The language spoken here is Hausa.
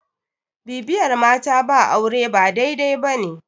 bibiyar mata ba aure ba dai- dai ba ne